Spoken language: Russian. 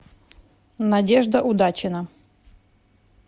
надежда удачина